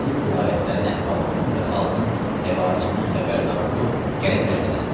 gedib vilayətlərin əhvalından və xalqın həvaicindən xəbərdar olub gəlib ərz eləsinlər.